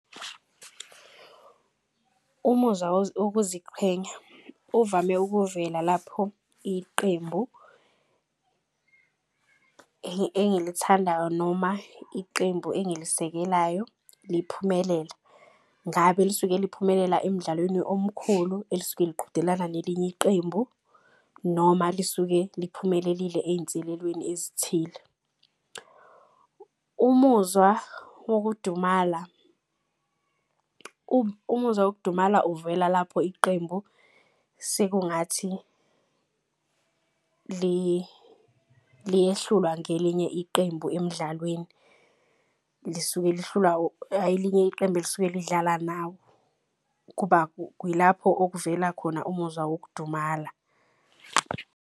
Umuzwa wokuziqhenya uvame ukuvela lapho iqembu engilithandayo. Noma iqembu engilisekelayo liphumelela, ngabe lisuke liphumelela emdlalweni omkhulu elisuke liqhudelana nelinye iqembu. Noma lisuke liphumelele ey'nselelweni ezithile. Umuzwa wokudumala uvela lapho iqembu sekungathi liyehlulwa ngelinye iqembu emdlalweni. Lisuke lihlulwa elinye iqembu elisuke lidlala nawo. Kuba okuvela khona umuzwa wokudumala.